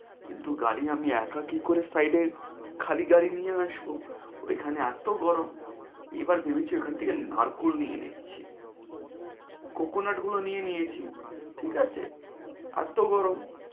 কিন্তু গাড়ি আমি একা কি করে side এ খালি গাড়ি নিয়ে আসব। ওই খানে এত গরম, এবার ভেবেছি ওইখান থেকে নারকল নিয়ে নিচ্ছি, coconut গুলো নিয়ে নিয়েছি। ঠিক আছে? এত গরম